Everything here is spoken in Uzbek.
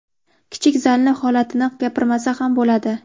Kichik zalni holatini gapirmasa ham bo‘ladi.